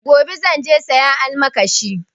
Gobe zan je sayan almakashi